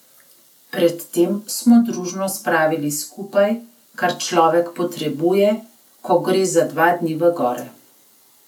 Pred tem smo družno spravili skupaj, kar človek potrebuje, ko gre za dva dni v gore.